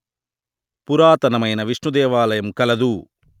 పురాతనమైన విష్ణుదేవాలయం కలదు